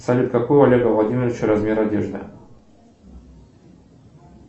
салют какой у олега владимировича размер одежды